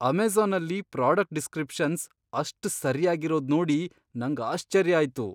ಅಮೆಜಾ಼ನಲ್ಲಿ product descriptions ಅಷ್ಟ್ ಸರ್ಯಾಗಿರೋದ್ ನೋಡಿ ನಂಗ್ ಆಶ್ಚರ್ಯ ಆಯ್ತು.